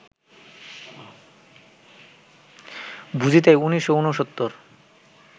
বুঝি তাই উনিশশো ঊনসত্তর